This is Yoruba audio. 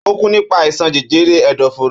Ókú nípa àìsàn jẹjẹrẹ ẹ̀dọ̀fóró